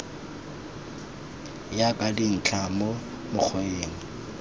ya ka dintlha mo mokgweng